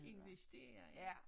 Investere ja